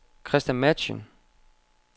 Christa Matzen